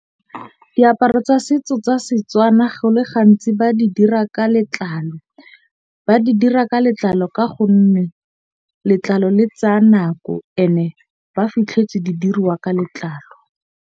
Diaparo tsa setso tsa Setswana go le gantsi ba di dira ka letlalo. Ba di dira ka letlalo. Ka gonne letlalo le tsaya nako ene ba fitlhetse di diruwa ka letlalo.